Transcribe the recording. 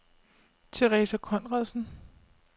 Theresa Konradsen